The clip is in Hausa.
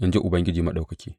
in ji Ubangiji Maɗaukaki.